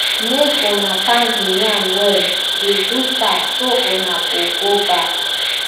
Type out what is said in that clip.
make una pound the yam well dey do fast so una go go baff